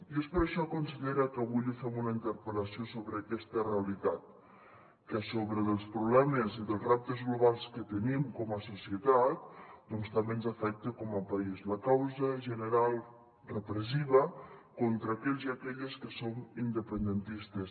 i és per això consellera que avui li fem una interpel·lació sobre aquesta realitat que a sobre dels problemes i dels reptes globals que tenim com a societat doncs també ens afecta com a país la causa general repressiva contra aquells i aquelles que som independentistes